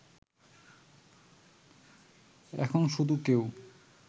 এখন শুধু কেউ